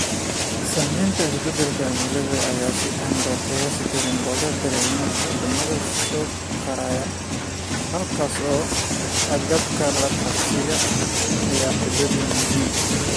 Saamaynta isbeddelka cimilada ayaa si aan loo qiyaasi karin looga dareemaa waddamada soo koraya, halkaasoo agabka la qabsiga ay xaddidan yihiin.